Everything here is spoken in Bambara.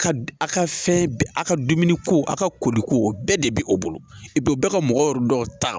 A ka fɛn bɛɛ a ka dumuni ko a ka ko de ko o bɛɛ de bɛ o bolo u bɛ ka mɔgɔ yɔrɔ dɔ ta